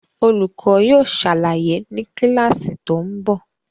Olùkọ́ yóò ṣàlàyé ni kíláàsì tó ń bọ̀